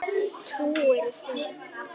Trúirðu því?